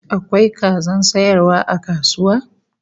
Akwai kazan sayarwa a kasuwa?